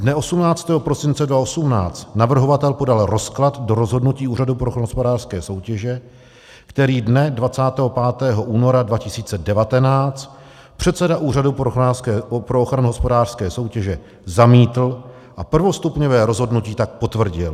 Dne 18. prosince 2018 navrhovatel podal rozklad do rozhodnutí Úřadu pro ochranu hospodářské soutěže, který dne 25. února 2019 předseda Úřadu pro ochranu hospodářské soutěže zamítl, a prvostupňové rozhodnutí tak potvrdil.